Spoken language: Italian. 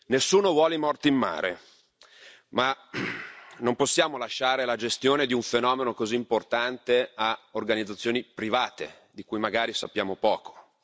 Nessuno vuole morti in mare, ma non possiamo lasciare la gestione di un fenomeno così importante a organizzazioni private, di cui magari sappiamo poco.